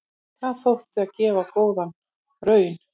Það þótti gefa góða raun.